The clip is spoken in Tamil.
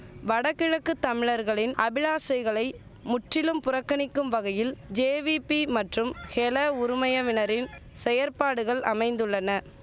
வடகிழக்கு தமிழர்களின் அபிலாஷைகளை முற்றிலும் புறக்கணிக்கும் வகையில் ஜேவிபி மற்றும் ஹெல உறுமயவினரின் செயற்பாடுகள் அமைந்துள்ளன